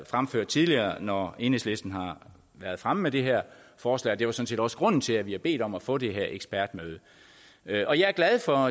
fremført tidligere når enhedslisten har været fremme med det her forslag det var sådan set også grunden til at vi har bedt om at få det her ekspertmøde og jeg er glad for